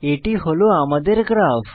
এটি হল আমার গ্রাফ